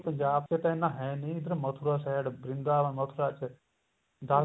ਪੰਜਾਬ ਚ ਤਾਂ ਇੰਨਾ ਹੈ ਨੀ ਮਥੁਰਾ side ਵ੍ਰਿੰਦਾਵਨ ਮਥੁਰਾ ਚ ਦਸ